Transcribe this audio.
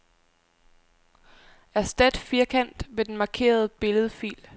Erstat firkant med den markerede billedfil.